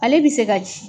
Ale bi se ka